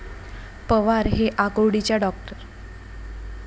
पवार हे आकुर्डीच्या डॉ.